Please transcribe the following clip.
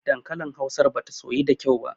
Dankalin hausar bata soyu da kyau ba.